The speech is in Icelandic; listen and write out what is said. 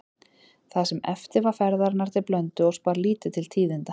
Það sem eftir var ferðarinnar til Blönduóss bar lítið til tíðinda.